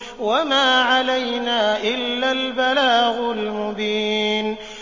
وَمَا عَلَيْنَا إِلَّا الْبَلَاغُ الْمُبِينُ